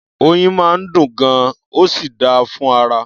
Oyin máa ń dùn gan-an, ó sì dáa fún ara.